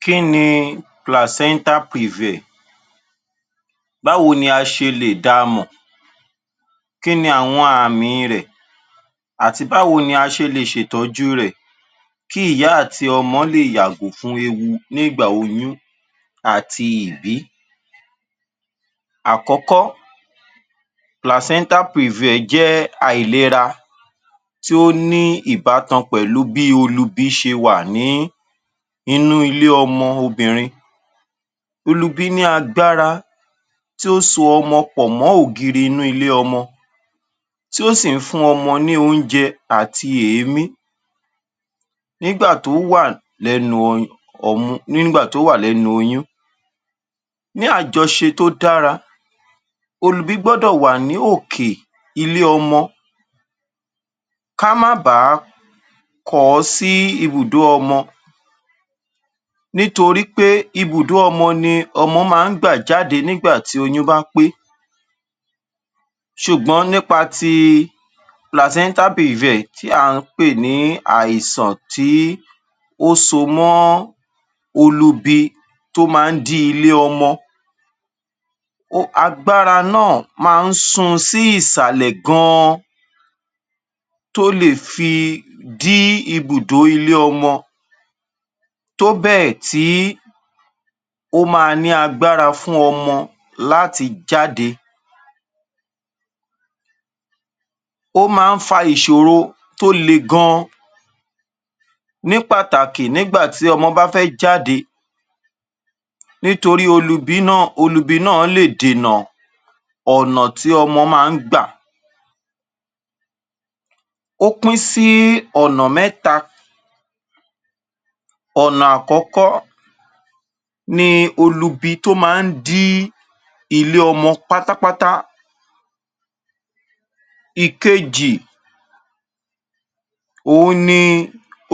Kí ni placenta previa? Báwo ni a ṣe lè da mọ̀? Kí ni àwọn àmi rẹ̀ àti báwo ni a ṣe lè ṣètọ́jú rẹ̀ kí ìyá àti ọmọ lè yàgò fún ewu nígbà oyún àti ìbí? Àkọ́kọ́ placenta previa jẹ́ àìlera tó ní ìbátan pẹ̀lú bí olubi ṣe wà ní inú ilé ọmọ obìnrin. Olubi ní agbára tí ó so ọmọ pọ̀ mọ́ ògiri inú ilé ọmọ tí ó sì ń fún ọmọ ní oúnjẹ àti èémí nígbà tó wà lẹ́nu ọmú nígbà tó wà lẹ́nu oyún ní àjọṣe tó dára olubí gbọ́dọ̀ wà ní òkè ilé ọmọ ká má bàá kọ̀ ọ́ sí ibùdó ọmọ nítorí pé ibùdó ọmọ ni ọmọ ma ń gbà jáde nígbà tí oyún bá pé. Ṣùgbọ́n nípa ti placenta previa tí à ń pè ní àìsàn tí ó so mọ́ olubi tó ma ń dí ilé ọmọ agbára náà máa ń sún un sí ìsàlẹ̀ gan-an tó le fi dí ibùdó ilé ọmọ tó bẹ́ẹ̀ tí ó máa ní agabára fún ọmọ láti jáde Ó ma ń fa ìṣòro tó le gan-an ní pàtàkì nígbà tí ọmọ bá fé jáde nítorí olubi náà lè dènà ọ̀nà tí ọmọ ma ń gbà. Ó pín sí ọ̀nà mẹ́ta. Ọ̀nà àkọ́kọ́ ni olubi tó ma ń dí ilé ọmọ pátápátá, ìkejì òhun ni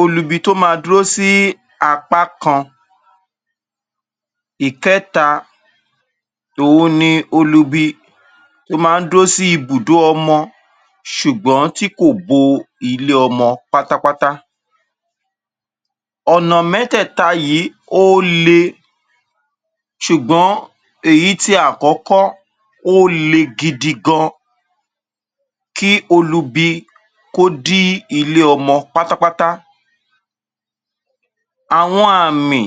olubi tó ma dúró sí apá kan, ìkẹ́ta òhun ni olubi tó ma ń dúró sí ibùdó ọmọ ṣùgbọ́n tí kò bo ilé ọmọ pátápátá. Ọ̀nà mẹ́tẹ̀ẹ̀ta yìí ó le ṣùgbọ́n èyí ti àkọ́kọ́ ó le gidi gan kí olubi kó dí ilé ọmọ pátápátá. Àwọn àmì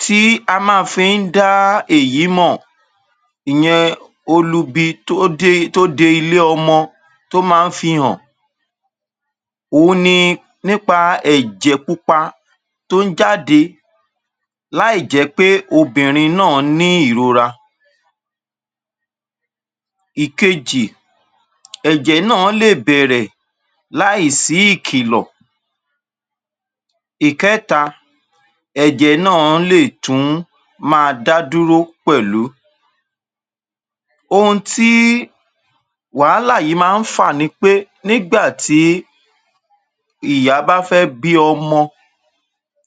tí a ma fi ń dá èyí mọ̀ ìyẹn olubi tó tó de ilé ọmọ tó ma ń fi hàn òhun ni nípa ẹ̀jẹ̀ pupa tó ń jáde láì jẹ́ pé obìnrin náà ní ìrora. Ìkejì ẹ̀jẹ̀ náà lè bẹ̀rẹ̀ láì sí ìkìlọ̀. Ìkẹ́ta ẹ̀jẹ̀ náà lè tún máa dá dúró pẹ̀lú ohun tí wàhálà yí máa ń fà ni pé tí nígbà ìyá bá fẹ́ bí ọmọ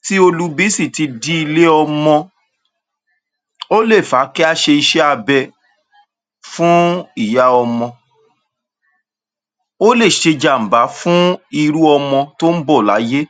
tí olubi sì ti dí ilé ọmọ ó lè fà á kí á ṣe iṣẹ́ abẹ fún ìyá ọmọ ó lè ṣèjàm̀bá fún irú ọmọ tó ń bọ̀ láyé.